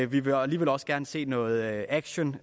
vi vil alligevel også gerne se noget action